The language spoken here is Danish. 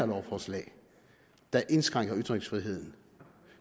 lovforslag der indskrænker ytringsfriheden